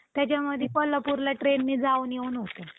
त्याच्यामध्ये कोल्हापूरला trainने जाऊन येउन हुतंय